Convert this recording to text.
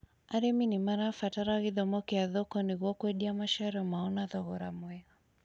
Arĩmi nĩmarabatara gĩthomo kĩa thoko nĩguo kwendia maciaro mao na thogora mwega